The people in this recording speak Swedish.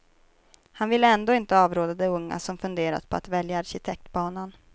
Han vill ändå inte avråda de unga som funderar på att välja arkitektbanan.